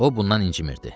O bundan incimirdi.